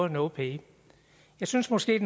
no pay jeg synes måske at